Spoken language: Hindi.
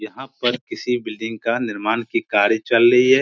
यहाँ पर किसी बिल्डिंग का निर्माण की कार्य चल रही है ।